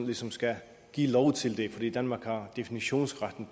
ligesom skal give lov til det fordi danmark har definitionsretten